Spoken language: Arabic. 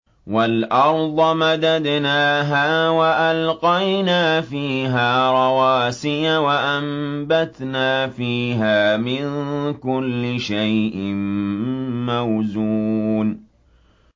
وَالْأَرْضَ مَدَدْنَاهَا وَأَلْقَيْنَا فِيهَا رَوَاسِيَ وَأَنبَتْنَا فِيهَا مِن كُلِّ شَيْءٍ مَّوْزُونٍ